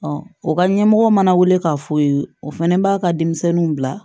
o ka ɲɛmɔgɔ mana weele k'a fɔ ye o fana b'a ka denmisɛnninw bila